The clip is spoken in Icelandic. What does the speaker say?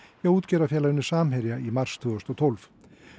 hjá útgerðarfélaginu Samherja í mars tvö þúsund og tólf